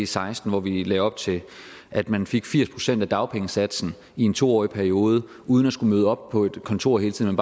seksten hvor vi lagde op til at man fik firs procent af dagpengesatsen i en to årig periode uden at skulle møde op på et kontor hele tiden